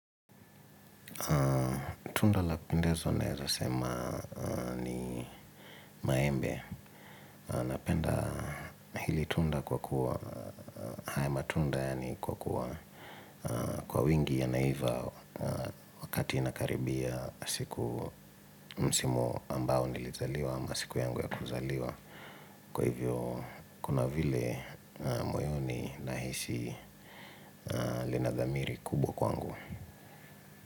Tunda la pendezo naeza sema ni maembe. Napenda hili tunda kwa kuwa haya matunda yani kwa kuwa kwa wingi yanaiva. Wakati inakaribia siku msimu ambao nilizaliwa ama siku yangu ya kuzaliwa. Kwa hivyo kuna vile moyoni nahisi linadhamiri kubwa kwangu.